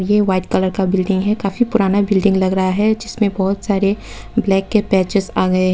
ये white colour का building है काफी पुराना बिल्डिंग लग रहा है जिसमें बहोत सारे ब्लैक के पैचेस आ गए हैं।